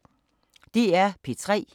DR P3